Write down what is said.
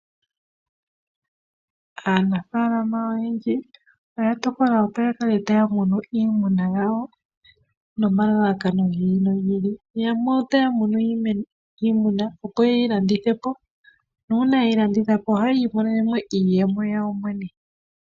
Aanafalama oyendji oya tokola opo ya kale taya munu iimuna yawo no malalakano gi ili nogi ili. Yamwe otaya munu iimuna opo yeyi landithe po. Nuuna yeyi landitha po ohaya imonene iiyemo yawo yene.